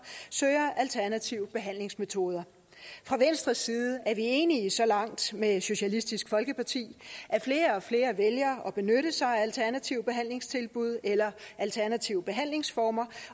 søger alternative behandlingsmetoder fra venstres side er vi enige så langt med socialistisk folkeparti at flere og flere vælger at benytte sig af alternative behandlingstilbud eller alternative behandlingsformer